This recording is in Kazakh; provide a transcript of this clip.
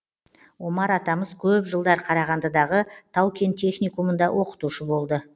омар атамыз көп жылдар қарағандыдағы тау кен техникумында оқытушы болды